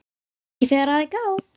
Ekki þegar að er gáð.